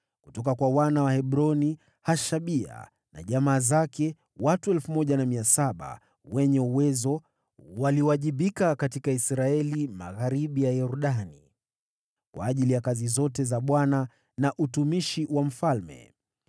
Kutoka kwa wana wa Hebroni: Hashabia na jamaa zake, watu 1,700 wenye uwezo, waliwajibika katika Israeli magharibi ya Yordani kwa ajili ya kazi zote za Bwana na utumishi wa mfalme.